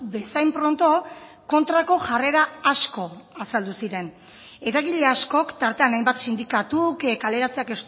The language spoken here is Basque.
bezain pronto kontrako jarrera asko azaldu ziren eragile askok tartean hainbat sindikatuk kaleratzeak